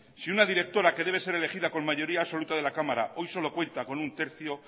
si una directora que debe de ser elegida con mayoría absoluta de la cámara hoy solo cuenta con un tercio